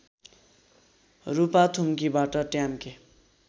रूपाथुम्कीबाट ट्याम्के